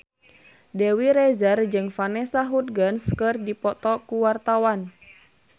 Dewi Rezer jeung Vanessa Hudgens keur dipoto ku wartawan